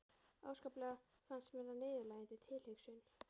Óskaplega fannst mér það niðurlægjandi tilhugsun.